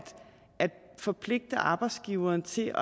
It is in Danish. forpligte arbejdsgiveren til